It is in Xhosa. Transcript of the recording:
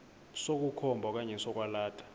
sokukhomba okanye sokwalatha